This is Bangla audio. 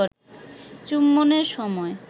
চুম্বনের সময়